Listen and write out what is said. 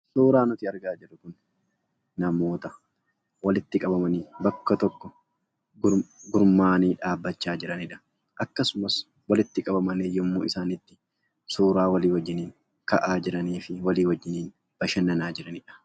Suuraan asitti argaa jirru kun namoota walitti qabamanii gurmaa'anii dhaabbachaa jiranidha. Akkasumas walitti qabamanii waliin suura ka'aa kan jiranii fi wajjiniin bashannanaa jiranidha.